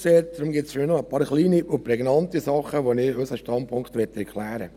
Deshalb gibt es nur noch ein paar kleine und prägnante Sachen, zu denen ich unseren Standpunkt klären möchte.